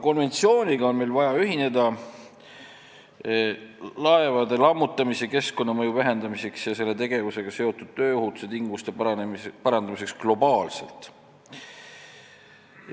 Konventsiooniga on meil vaja ühineda laevade lammutamise keskkonnamõju vähendamiseks ja selle tegevusega seotud tööohutuse tingimuste parandamiseks globaalselt.